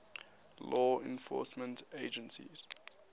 law enforcement agencies